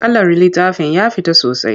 Kalar littafin ya fita sosai.